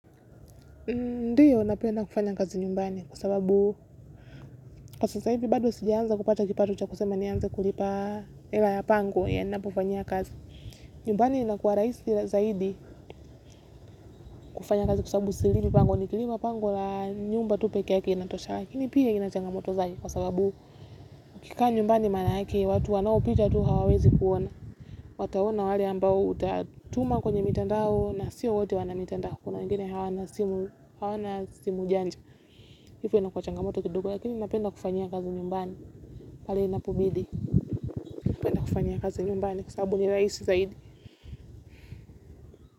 Ndiyo napenda kufanya kazi nyumbani kwa sababu kwa sasa hivi bado sijaanza kupata kipato cha kusema nianze kulipa hela ya pangwe yanapofanyia kazi. Nyumbani inakua rahisi zaidi kufanya kazi kwa sababu silipi pango nikilipa pango la nyumba tu peke yake inatosha lakini pia ina changamoto zake kwa sababu ukikaa nyumbani maanake watu wanaopita tu hawawezi kuona. Wataona wale ambao utatuma kwenye mitandao na sio wote wana mitandao kuna wengine hawana simu janja, hivyo inakuwa changamoto kidogo lakini napenda kufanyia kazi nyumbani, pale inapobidi. Napenda kufanyia kazi nyumbani kwa sababu ni rahisi zaidi.